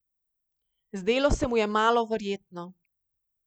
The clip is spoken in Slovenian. Zdelo se mu je malo verjetno.